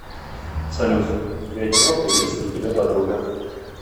салют тебе одиноко и есть ли у тебя подруга